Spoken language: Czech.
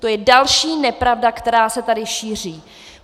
To je další nepravda, která se tady šíří.